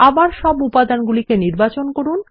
আবার সব উপাদানগুলিকে নির্বাচন করুন